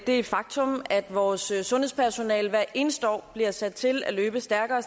det faktum at vores sundhedspersonale hvert eneste år bliver sat til at løbe stærkere